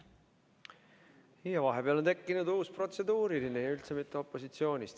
Vahepeal on tekkinud uus protseduuriline küsimus ja üldse mitte opositsioonist.